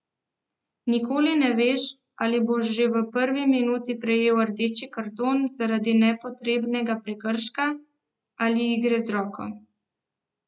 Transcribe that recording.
Nikoli ne veš, ali boš že v prvi minuti prejel rdeči karton zaradi nepotrebnega prekrška ali igre z roko.